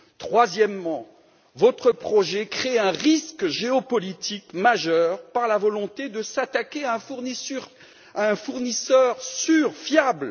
Troisièmement, votre projet crée un risque géopolitique majeur, par la volonté de s'attaquer à un fournisseur sûr, fiable.